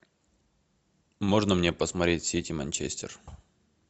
можно мне посмотреть сити манчестер